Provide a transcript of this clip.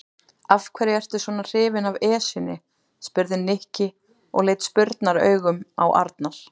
Af hverju ertu svona hrifinn af Esjunni? spurði Nikki og leit spurnaraugum á Arnar.